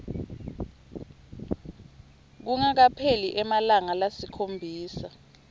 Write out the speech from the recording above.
kungakapheli emalanga lasikhombisa